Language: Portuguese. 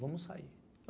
Vamos sair.